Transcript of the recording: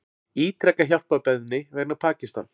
Ítreka hjálparbeiðni vegna Pakistan